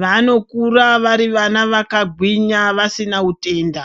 vanakura vari vana vakagwinya vasina utenda.